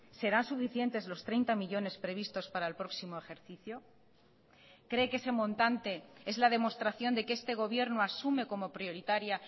serán suficientes los treinta millónes previstos para el próximo ejercicio cree que ese montante es la demostración de que este gobierno asume como prioritaria